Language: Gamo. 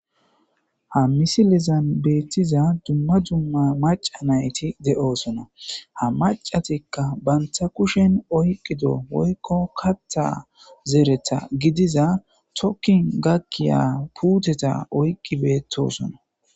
Ha misiliyan betiza duma duma maca nayti de'iyosona ha macatika banta kushen oykido woykon katha zeretha gidiza tokin gakiza putteta oyki betosona